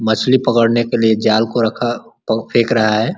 मछली पकड़ने के लिए जाल को रखा और फेक रहा है।